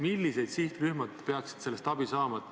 Millised sihtrühmad peaksid sellest abi saama?